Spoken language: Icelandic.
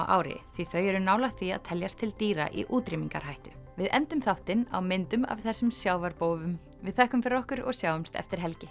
ári því þau eru nálægt því að teljast til dýra í útrýmingarhættu við endum þáttinn á myndum af þessum við þökkum fyrir okkur og sjáumst eftir helgi